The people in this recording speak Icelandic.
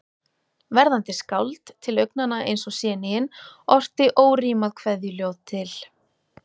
Verðandi skáld, til augnanna eins og séníin, orti órímað kveðjuljóð til